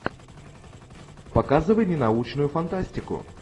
показывай мне научную фантастику